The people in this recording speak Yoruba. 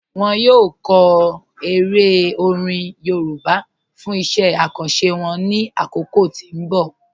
Wọn yọ kọ èrè orin Yorùbá fún iṣẹ̀ àkàńṣé wọn ní akókò tí n bọ̀.